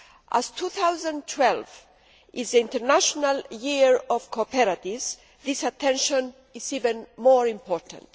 As 2012 is the International Year of Cooperatives, this attention is even more important.